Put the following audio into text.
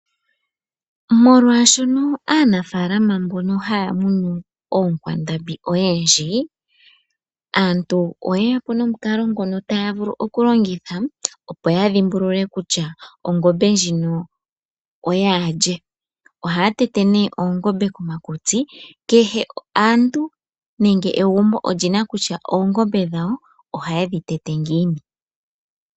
Molwaashono aanafaalama mbono haya munu oonkwandambi odhindji, aantu oye ya po nomukalo ngono taya vulu oku longitha opo ya dhimbulule kutya ongombe ndjino oyaalye, ohaya tete nee oongombe komakutsi, kehe aantu nenge nditye egumbo olyina kutya oongombe dhawo ohaye dhi tete ngiini.